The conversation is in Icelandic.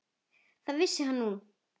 Það vissi hann núna.